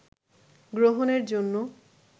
গ্রহণের জন্য